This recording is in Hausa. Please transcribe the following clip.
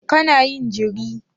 Kana yin jiri?